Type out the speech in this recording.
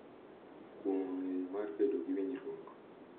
Kuong’o ng’eyo mar bedo gi winjruok.